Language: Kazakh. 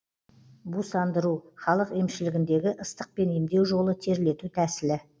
бусандыру халық емшілігіндегі ыстықпен емдеу жолы терлету тәсілі